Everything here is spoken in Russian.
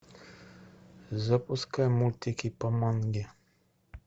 запускай мультики по манге